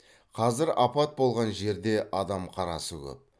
қазір апат болған жерде адам қарасы көп